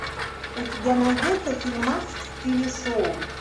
у тебя найдется фильмас в стиле шоу